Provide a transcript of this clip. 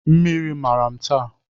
Mmiri mara m taa